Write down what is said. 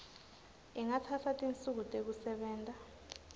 ingatsatsa tinsuku tekusebenta